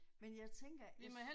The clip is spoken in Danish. Men jeg tænker hvis